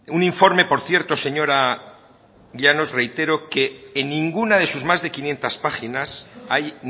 un informe por cierto señora llanos reitero que en ninguna de sus más de quinientos páginas hay